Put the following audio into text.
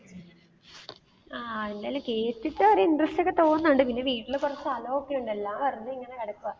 ആ അങ്ങനെ കേട്ടിട്ട് ഒരു interest ഒക്കെ തോന്നണുണ്ട്, പിന്നെ വീട്ടിൽ കുറച്ച് സ്ഥലം ഒക്കെ ഉണ്ട് എല്ലാം വെറുതെ ഇങ്ങനെ കിടക്കുവാ.